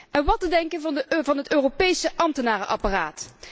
En wat te denken van het Europese ambtenarenapparaat?